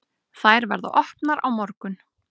Þær verða opnar á morgun.